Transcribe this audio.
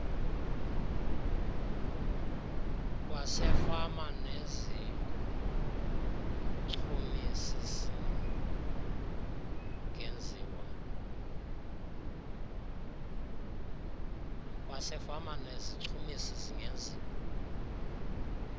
kwasefama nezichumisi singenziwa